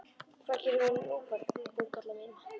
Hvað gerum við nú Búkolla mín?!